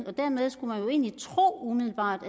og dermed skulle man jo egentlig umiddelbart